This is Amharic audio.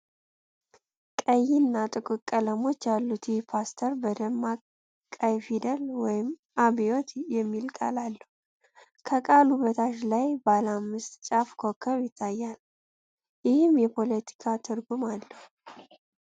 ይ እና ጥቁር ቀለሞች ያሉት ይህ ፖስተር በደማቅ ቀይ ፊደል "አብዮት" የሚል ቃል አለው። ከቃሉ በታች ቀይ ባለ አምስት ጫፍ ኮከብ ይታያል፤ ይህም የፖለቲካ ትርጉም አለው።